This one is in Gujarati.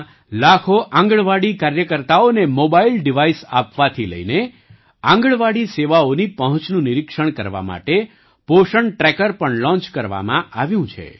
દેશમાં લાખો આંગણવાડી કાર્યકર્તાઓને મોબાઇલ ડિવાઈસ આપવાથી લઈને આંગણવાડી સેવાઓની પહોંચનું નિરીક્ષણ કરવા માટે પોષણ ટ્રેકર પણ લૉંચ કરવામાં આવ્યું છે